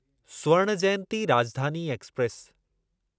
Swarna Jayanti Rajdhani express